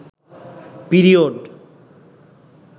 period